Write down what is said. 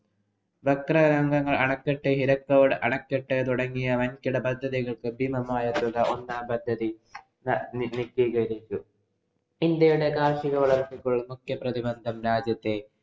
ഭക്രാനംഗല്‍ അണക്കെട്ട്, ഹിരാക്കുഡ് അണക്കെട്ട് തുടങ്ങിയ വന്‍കിട പദ്ധതികള്‍ക്ക് ഭീമമായ തുക ഒന്നാം പദ്ധതി ഇന്‍ഡ്യയുടെ കാര്‍ഷിക വളര്‍ച്ചയ്ക്ക് മുഖ്യ പ്രതിബന്ധം രാജ്യത്തെ